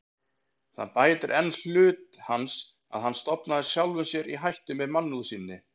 Það bætir enn hlut hans, að hann stofnaði sjálfum sér í hættu með mannúð sinni.